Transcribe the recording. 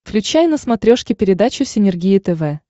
включай на смотрешке передачу синергия тв